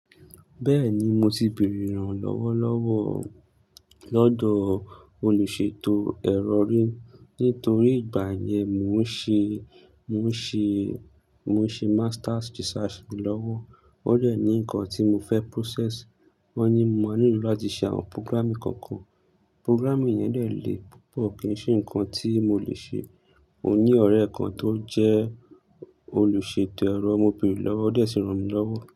Bẹ́ẹ̀ni, mo ti bèrè ràn lọ́wọ́lọ́wọ́ lọ́dọ̀ olùṣètò ẹ̀rọ rí. Nítorí ìgbà yẹn mò ń ṣe, mò ń ṣe, mò ń ṣe master's thesis lọ́wọ́. Ó dẹ̀ ní nǹkan tí mo fẹ́ process, wọ́n ní mo máa nílò láti ṣe àwọn programming kọ̀ọ̀kan. Programming yẹn dè lé púpọ̀, kì í ṣe nǹkan tí mo le ṣe. Mo ní ọ̀rẹ́ kan tó jẹ́ olùṣètò ẹ̀rọ, mo béèrè lọ́wọ́, ó sì ràn mí lọ́wọ́.